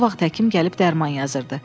Bu vaxt həkim gəlib dərman yazırdı.